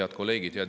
Head kolleegid!